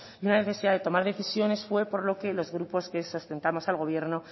y una necesidad de tomar decisiones fue por lo que los grupos que sustentamos al gobierno